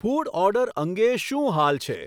food order અંગે શું હાલ છે